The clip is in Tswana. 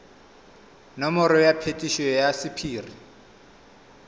nomoro ya phetiso ya sephiri